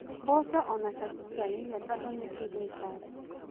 Mboco o nacio citiagĩrĩire tondũ nĩ irĩ ngaci